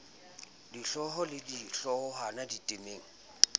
dihlooho le di hloohwana ditemeng